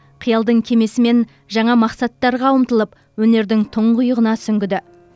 қиялдың кемесімен жаңа мақсаттарға ұмтылып өнердің тұңғиығына сүңгіді